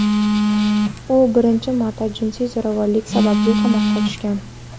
U birinchi marta jinsiy zo‘ravonlik sababli qamoqqa tushgan.